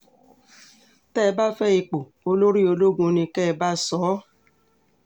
tẹ́ ẹ bá fẹ́ ipò olórí ológun ni kẹ́ ẹ bá sọ ọ́